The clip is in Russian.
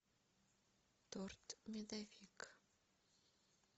торт медовик